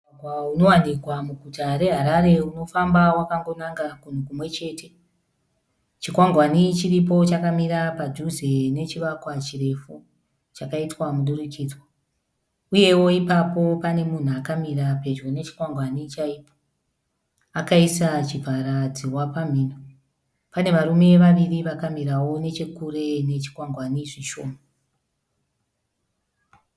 Mugwagwa unowanikwa muguta reHarare unofamba wakangonanga kunhu kumwe chete, chikwangwani chiripo chakamira padhuze nechivakwa chirefu chakaitwa mudurukidzwa, uyewo ipapo pane munhu akamira pedyo nechikwangwani chaipo akaisa chivhara dzihwa pamhino, pane varume vaviri vakamirawo nechekure kwechikwangwani zvishoma.